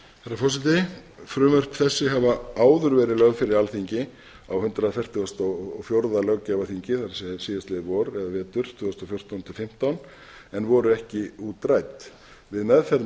forseti frumvörp þessi hafa áður verið lögð fyrir alþingi á hundrað fertugasta og fjórða löggjafarþingi það er síðastliðið vor eða vetur tvö þúsund og fjórtán til tvö þúsund og fimmtán en voru ekki útrædd við meðferð